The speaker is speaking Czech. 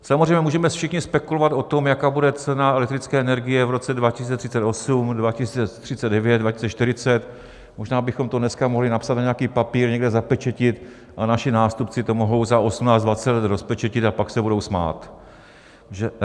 Samozřejmě můžeme všichni spekulovat o tom, jaká bude cena elektrické energie v roce 2038, 2039, 2040, možná bychom to dneska mohli napsat na nějaký papír, někde zapečetit a naši nástupci to mohou za 18, 20 let rozpečetit a pak se budou smát.